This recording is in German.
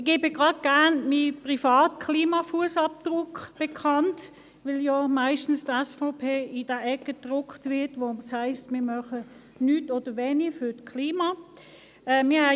Ich gebe gerne meinen privaten Klima-Fussabdruck bekannt, weil die SVP meist in die Ecke derjenigen gedrängt wird, die nichts oder nur wenig für das Klima tun.